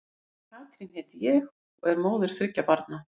Katrín heiti ég og og er móðir þriggja barna.